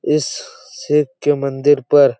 इस शिव के मंदिर पर--